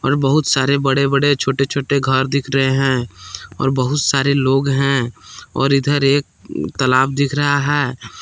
बहुत सारे बड़े बड़े छोटे छोटे घर दिख रहे हैं और बहुत सारे लोग हैं और इधर एक तालाब दिख रहा है।